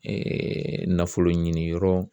nafolo ɲini yɔrɔ